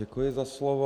Děkuji za slovo.